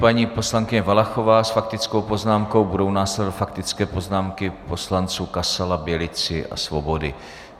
Paní poslankyně Valachová s faktickou poznámkou, budou následovat faktické poznámky poslanců Kasala, Bělici a Svobody.